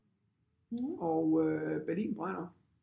Og øh Berlin Brænder